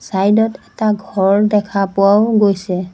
চাইডত এটা ঘৰ দেখা পোৱাও গৈছে।